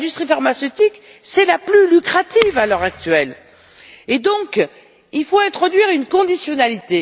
L'industrie pharmaceutique est la plus lucrative, à l'heure actuelle, et il faut donc introduire une conditionnalité.